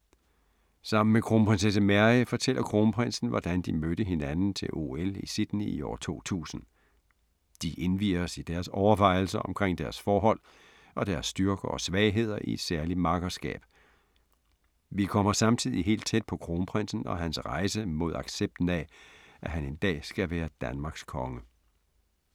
Sammen med Kronprinsesse Mary fortæller Kronprinsen, hvordan de mødte hinanden til OL i Sydney i år 2000. De indvier os i deres overvejelser omkring deres forhold, og deres styrker og svagheder i et særligt makkerskab. Vi kommer samtidig helt tæt på Kronprinsen og hans rejse mod accepten af, at han en dag skal være Danmarks konge.